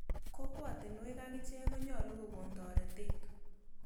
Kokwatinwek akichek konyalu kokon toretet.